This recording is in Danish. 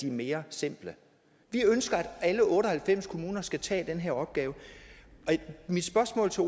er mere simpelt vi ønsker at alle otte og halvfems kommuner skal tage den her opgave mit spørgsmål til